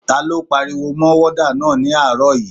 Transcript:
Ta ló pariwo mọ wádà náà ní àárọ̀ yìí?